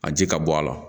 A ji ka bɔ a la